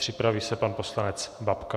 Připraví se pan poslanec Babka.